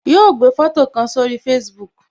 Yo gbé foto kan sórí Facebook